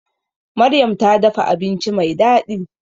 Maryam ta dafa abinci mai daɗi